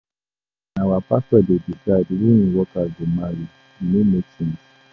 Na our pastor dey decide who im workers go marry, e no make sense.